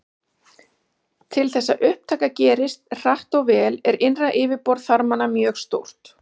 Til þess að upptaka gerist hratt og vel er innra yfirborð þarmanna mjög stórt.